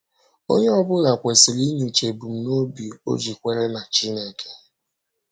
Onye ọ bụla kwesịrị inyocha ebumnobi o ji kwere na Chineke.